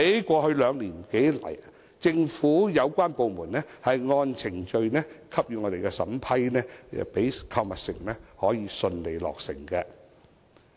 過去兩年多以來，政府有關部門按程序給予審批，讓購物城可以順利落成。